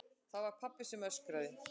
Það var pabbi sem öskraði.